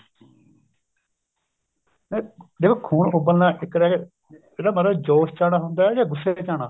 ਹਾਂ ਦੇਖੋ ਖੂਨ ਉੱਬਲਣਾ ਇੱਕ ਰਹਿ ਗਿਆ ਜਿਹੜਾ ਮਹਾਰਾਜ ਜ਼ੋਸ ਚ ਆਉਣਾ ਹੁੰਦਾ ਜਾਂ ਗੁੱਸੇ ਵਿੱਚ ਆਉਣਾ